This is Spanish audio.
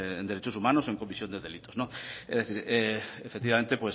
en derechos humanos o en comisión de delitos efectivamente